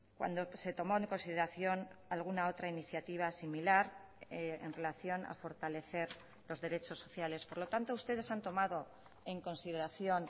cuando se tomó en consideración alguna otra iniciativa similar en relación a fortalecer los derechos sociales por lo tanto ustedes han tomado en consideración